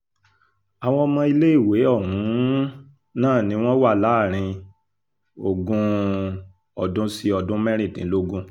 àwọn ọmọ iléèwé um náà ni wọ́n wà láàrin ogún um ọdún sí ọdún mẹ́rìndínlógún